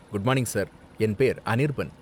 Good morning sir, என் பேர் அனிர்பன்.